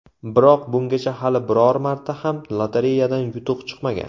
Biroq, bungacha hali biror marta ham lotereyadan yutuq chiqmagan.